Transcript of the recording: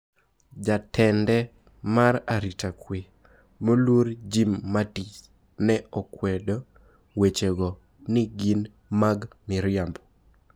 Jatend mare mar aritakwee moluor Jim Mattis ne okwedo weche go ni gin mag miriambo.